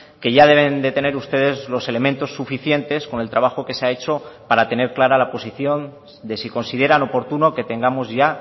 que ya deben de tener ustedes los elementos suficientes con el trabajo que se ha hecho para tener clara la posición de si consideran oportuno que tengamos ya